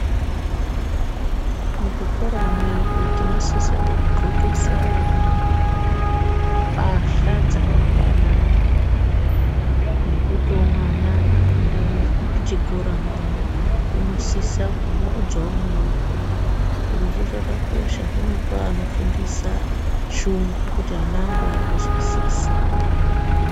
Muzvikora mwedu tinosisa kudzxokesa vana pahla dzakafanana, nekutiwo mwana apinda muchikora mwoo unosisa kumurudzawoo muoko. Zvirozvo zvakakosha zvinopa anofundisa shungu, kuti ana angu arikuzwisisa.